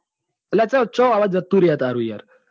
અલ્યા છો અવાજ જતો રે છે તારો યાર.